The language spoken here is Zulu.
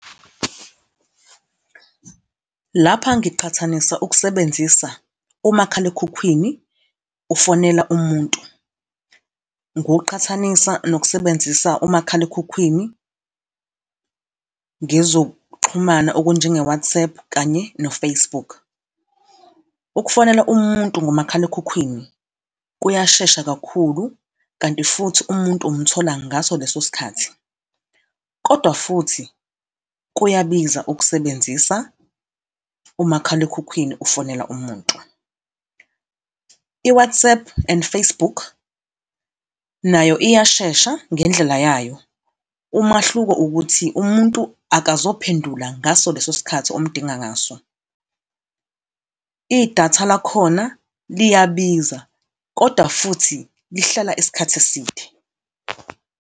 Lapha ngiqhathanisa ukusebenzisa umakhalekhukhwini, ufonela umuntu, ngiwuqhathanisa nokusebenzisa umakhalekhukhwini ngezokuxhumana okunjengo-WhatsApp kanye no-Facebook. Ukufonela umuntu ngomakhalekhukhwini kuyashesha kakhulu, kanti futhi umuntu umthola ngaso leso sikhathi, kodwa futhi kuyabiza ukusebenzisa umakhalekhukhwini, ufonela umuntu. I-WhatsApp and Facebook nayo iyashesha ngendlela yayo. Umahluko ukuthi umuntu akazophendula ngaso leso sikhathi omdinga ngaso. Idatha lakhona liyabiza, kodwa futhi lihlala isikhathi eside.